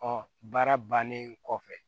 baara bannen kɔfɛ